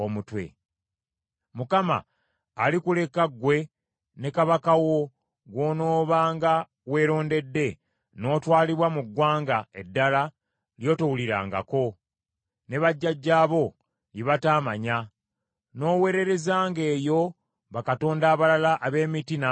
Mukama alikuleka, ggwe ne kabaka wo gw’onoobanga weerondedde n’otwalibwa mu ggwanga eddala ly’otowulirangako, ne bajjajjaabo lye bataamanya, n’oweererezanga eyo bakatonda abalala ab’emiti n’amayinja.